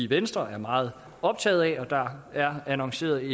venstre er meget optaget af og der er annonceret